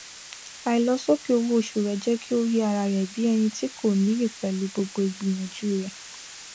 àìlọsókè owó oṣù rẹ jẹ kí ó rí ara rẹ bí ẹni tí kò níyì pẹlú gbogbo ìgbìyànjú rẹ